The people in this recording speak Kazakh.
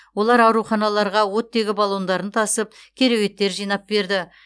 олар ауруханаларға оттегі баллондарын тасып кереуеттер жинап берді